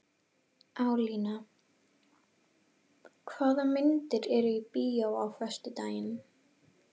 Alíana, hvaða myndir eru í bíó á föstudaginn?